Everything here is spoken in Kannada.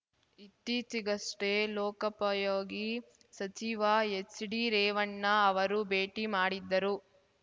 ಇತ್ತೀಚೆಗಷ್ಟೇ ಲೋಕಪಯೋಗಿ ಸಚಿವ ಎಚ್‌ಡಿ ರೇವಣ್ಣ ಅವರು ಭೇಟಿ ಮಾಡಿದ್ದರು